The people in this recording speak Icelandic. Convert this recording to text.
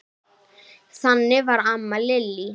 Þannig var amma Lillý.